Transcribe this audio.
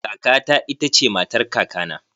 Kaka ta ita ce matar kakana